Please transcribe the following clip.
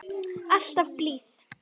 Alltaf blíð.